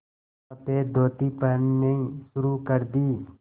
सफ़ेद धोती पहननी शुरू कर दी